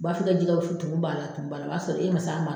U b'a f'i ka jɛwusu tumu b'a la tumu b'a la o b'a sɔrɔ e ma